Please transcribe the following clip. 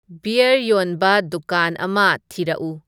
beer ꯌꯣꯟꯕ ꯗꯨꯀꯥꯟ ꯑꯃ ꯊꯤꯔꯛꯎ